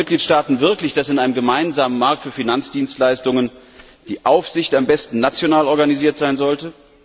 Glauben die Mitgliedstaaten wirklich, dass in einem gemeinsamen Markt für Finanzdienstleistungen die Aufsicht am besten national organisiert werden sollte?